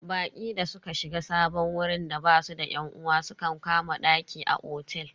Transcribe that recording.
Baƙi da suka shiga sabon wurin da basu da yan uwa sukan kama daki a otel.